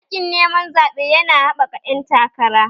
Yaƙin neman zaɓe yana haɓaka ƴan takara